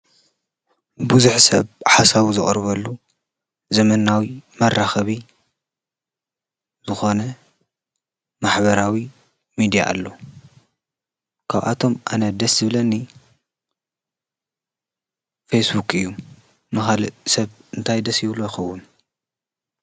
ብዙሕ ሰብ ሓሳቡ ዘቅርበሉ ዘመናዊ መራኸቢ ዝኮነ ማሕበራዊ ሚድያ ኣሎ፡፡ ካብኣቶም ኣነ ደስ ዝብለኒ ፌስቡክ እዩ፡፡ ንካሊእ ሰብ እንታይ ደስ ይብሎ ይኮን?